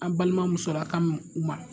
An balima musolaka mun ma